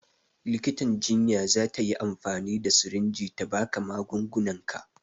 Likitan jinya za ta yi amfani da sirinji ta ba ka magungunanka